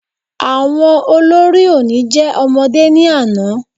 Àwọn olórí oní jẹ́ ọmọdé ní àná